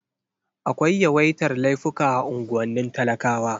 Akwai yawaitar laifuka a unguwannin talakawa.